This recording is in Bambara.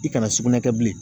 I kana sugunɛ kɛ bilen